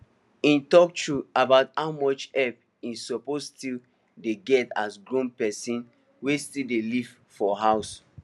e talk true about how much help e suppose still dey get as grown person wey still dey live for house